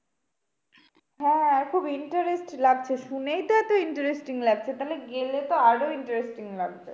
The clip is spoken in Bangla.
হ্যাঁ খুব interest লাগছে শুনেই তো এত interesting লাগছে তাহলে গেলে তো আরো interesting লাগবে।